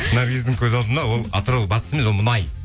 наргиздің көз алдына ол атырау батыс емес ол мұнай